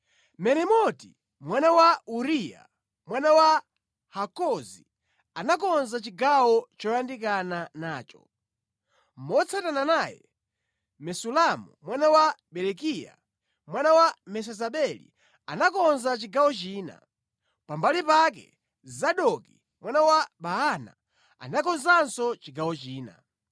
Meremoti mwana wa Uriya, mwana wa Hakozi, anakonza chigawo choyandikana nacho. Motsatana naye, Mesulamu mwana wa Berekiya, mwana wa Mesezabeli anakonza chigawo china. Pambali pake, Zadoki mwana wa Baana anakonzanso chigawo china.